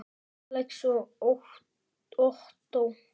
Alex og Ottó.